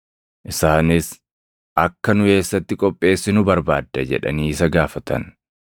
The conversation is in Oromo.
Isaanis, “Akka nu eessatti qopheessinu barbaadda?” jedhanii isa gaafatan.